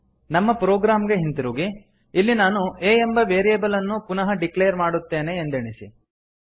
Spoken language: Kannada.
ನಮ್ಮ ಪ್ರೊಗ್ರಾಮ್ ಗೆ ಹಿಂತಿರುಗಿ ಇಲ್ಲಿ ನಾನು a ಎಂಬ ವೇರಿಯೇಬಲ್ ಅನ್ನು ಪುನಃ ಡಿಕ್ಲೇರ್ ಮಾಡುತ್ತೇನೆ ಎಂದೆಣಿಸಿ